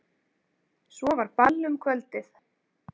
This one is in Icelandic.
Svo var ball um kvöldið.